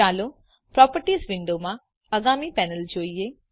ચાલો પ્રોપર્ટીઝ વિંડોમાં આગામી પેનલ જોઈએ